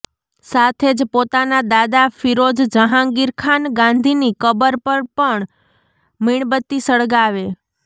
સાથે જ પોતાના દાદા ફિરોઝ જહાંગીર ખાન ગાંધીની કબર પર પણ મીણબત્તી સળગાવે